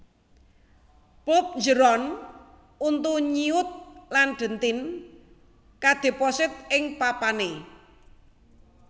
Pulp njeron untu nyiut lan dentin kadheposit ing papané